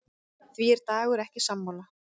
Því er Dagur ekki sammála.